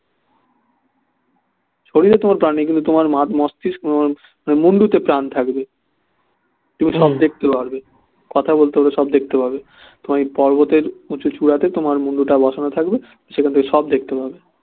শরীরে তোমার প্রাণ নেই কিন্তু তোমার মুন্ডতে প্রাণ থাকবে তুমি সব দেখতে পারবে কথা বলতে বলতে সব দেখতে পাবে তোমার ওই পর্বতের উঁচু চূড়াতে তোমার মুণ্ডটা বসানো থাকবে সেখান থেকে সব দেখতে পাবে